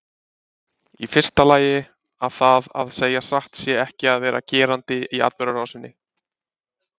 Í fyrsta lagi að það að segja satt sé ekki að vera gerandi í atburðarásinni.